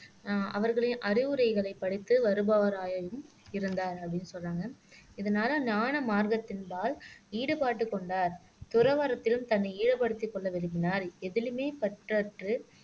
அஹ் அவர்களின் அறிவுரைகளைப் படித்து வருபவராயும் இருந்தார் அப்படீன்னு சொன்னாங்க இதனால ஞான மார்க்கத்தின் பால் ஈடுபட்டுக் கொண்டார் துறவறத்திலும் தன்னை ஈடுபடுத்திக் கொள்ள விரும்பினார் எதிலுமே பற்றுறற்று